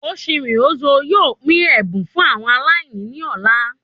Ochiri Ozuo yóò pín ẹbùn fún àwọn aláìní ní ọ̀la